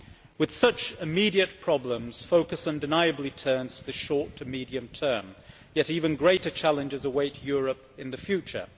With such immediate problems, focus undeniably turns to the short and medium term yet even greater challenges await Europe in the future.